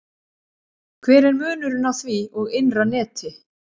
Hver er munurinn á því og innra neti?